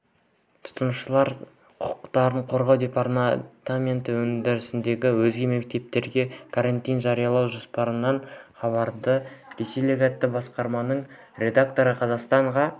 тұтынушылар құқықтарын қорғау департаменті өңірдегі өзге мектептерде карантин жариялау жоспарланбағанын хабарлады ресейлік атты басылымның редакторы қазақстанға